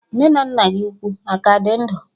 Nne na nna gị ukwu aka dị ndụ?